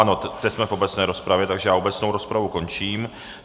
Ano, teď jsme v obecné rozpravě, takže já obecnou rozpravu končím.